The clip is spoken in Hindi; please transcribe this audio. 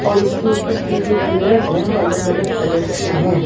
और उसके ऊपर की जो पिलर्स हैं वो अलग अलग कलर्स के हैं।